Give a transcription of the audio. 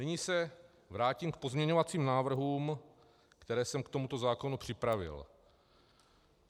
Nyní se vrátím k pozměňovacím návrhům, které jsem k tomuto zákonu připravil.